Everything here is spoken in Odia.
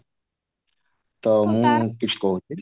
ତା ମୁଁ କିଛି କହୁଥିଲି